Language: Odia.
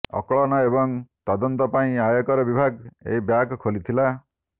ଆକଳନ ଏବଂ ତଦନ୍ତ ପାଇଁ ଆୟକର ବିଭାଗ ଏହି ବ୍ୟାଗ୍ ଖୋଲିଥିଲା